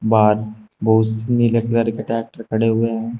बाहर बहुत से नीले कलर ट्रैक्टर खड़े हुए हैं।